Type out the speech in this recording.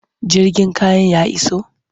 Jirgin kayan ya iso?